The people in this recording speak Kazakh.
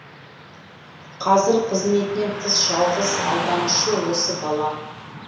қазір қызметінен тыс жалғыз алданышы осы бала